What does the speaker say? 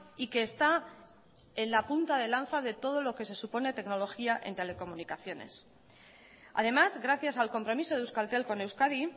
y que está en la punta de lanza de todo lo que se supone tecnología en telecomunicaciones además gracias al compromiso de euskaltel con euskadi